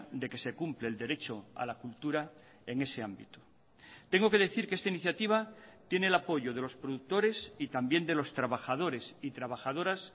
de que se cumple el derecho a la cultura en ese ámbito tengo que decir que esta iniciativa tiene el apoyo de los productores y también de los trabajadores y trabajadoras